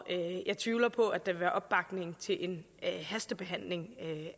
jeg tvivler på at der vil være opbakning til en hastebehandling